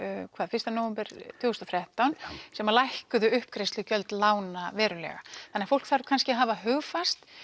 fyrsta nóvember tvö þúsund og þrettán sem lækkuðu uppgreiðslugjöld lána verulega þannig fólk þarf kannski að hafa hugfast